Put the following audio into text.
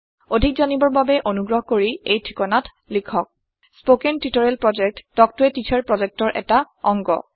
অধিক জানিবৰ বাবে অনুগ্ৰহ কৰি এই ঠিকনাত লিখক contactspoken tutorialorg স্পকেন টিওটৰিয়েলৰ প্ৰকল্প তাল্ক ত a টিচাৰ প্ৰকল্পৰ এটা অংগ